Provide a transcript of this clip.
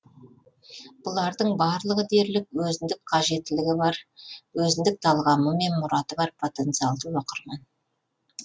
бұлардың барлығы дерлік өзіндік қажетілігі бар өзіндік талғамы мен мұраты бар потенциалды оқырман